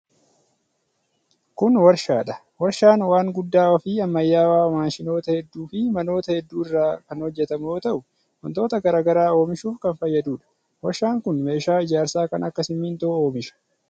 Kun warshaa dha. Warshaan waan guddaa fi ammayyawaa maashinoota hedduu fi manoota hedduu irraa kan hojjatamu yoo ta'u, wantoota garaa garaa oomishuuf kan fayyaduu dha. Warshaan kun meeshaa ijaarsaa kan akka simiintoo oomisha.